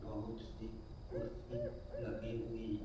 बहुत से कुर्सी लगे हुए है।